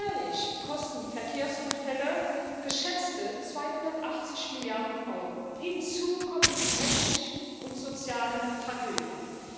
Jährlich kosten Verkehrsunfälle geschätzte 280 Milliarden Euro. Hinzu kommen die menschlichen und sozialen Tragödien.